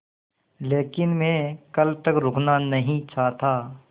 लेकिन मैं कल तक रुकना नहीं चाहता